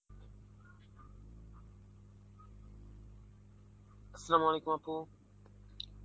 Arbi Appu